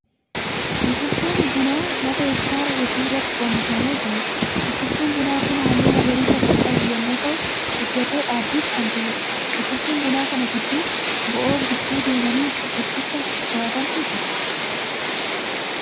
Biqiltuu bunaa lafa hektaara hedduu irratti oomishamee jiruudha. Biqiltuun bunaa kun halluu magariisa kan qabu yemmuu ta'u guddatee dhaabbiif kan gaheedha. Biqiltuu bunaa kana gidduu bo'oo gidduu deemanii biqilticha to'atantu jira.